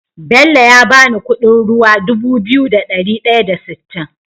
Bello ya bani Ƙudin ruwa Dubu biyu da dari daya da sittin